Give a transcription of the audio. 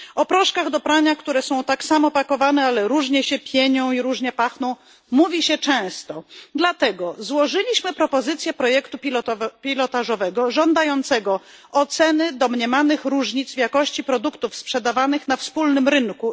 O proszkach do prania, które są tak samo pakowane, ale różnie się pienią i różnie pachną, mówi się często, dlatego złożyliśmy propozycję projektu pilotażowego, żądając oceny domniemanych różnic w jakości produktów sprzedawanych na wspólnym rynku.